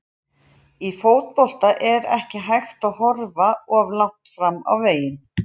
Í fótbolta er ekki hægt að horfa of langt fram á veginn.